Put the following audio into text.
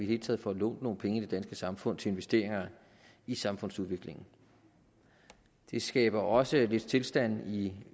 hele taget får lånt nogle penge i det danske samfund til investeringer i samfundsudviklingen det skaber også lidt stilstand i